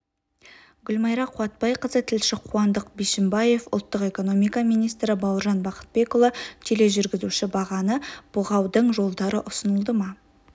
гүлмайра қуатбайқызы тілші қуандық бишімбаев ұлттық экономика министрі бауыржан бақытбекұлы тележүргізуші бағаны бұғаудың жолдары ұсынылды ма